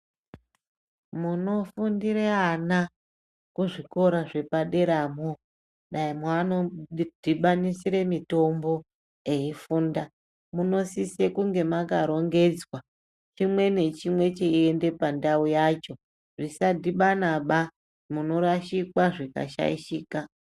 Munofundire ana kuzvikora zvepaderamwo dai maanodhibanisire mutombo eyifunda, munosise kunge makarongedzwa, chimwe nechimwe chiiende pandau yacho. Zvisadhibanisaba munorashikwa zvikashaishika.